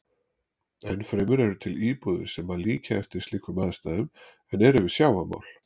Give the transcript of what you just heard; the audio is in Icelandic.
Enn fremur eru til íbúðir sem líkja eftir slíkum aðstæðum en eru við sjávarmál.